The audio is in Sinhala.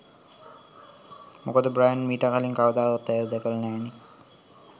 මොකද බ්‍රයන් මීට කලින් කවදාවත් ඇයව දැකල නෑනෙ.